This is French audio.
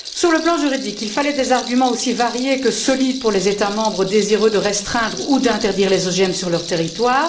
Sur le plan juridique, il fallait des arguments aussi variés que solides pour les États membres désireux de restreindre ou d'interdire les OGM sur leur territoire.